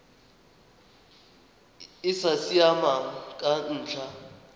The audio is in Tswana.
e sa siamang ka ntlha